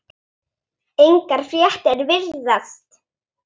Engar fréttir virðast